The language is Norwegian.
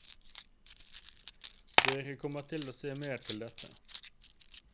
Dere kommer til å se mere til dette.